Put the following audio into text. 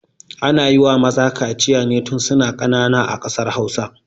Ana yiwa maza kaciya ne tun suna ƙanana a ƙasar hausa